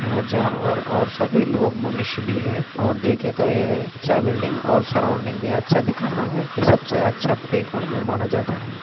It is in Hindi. यहाँ जानवर और सभी लोग मनुष्य भी है और देखे तो ये अच्छा बिल्डिंग और सराउंडिंग भी अच्छा दिख रहा है ये सबसे अच्छा प्लेग्राउंड भी माना जाता है।